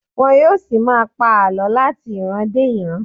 Wọn yóò ṣì máa pa àlọ láti ìran dé ìran.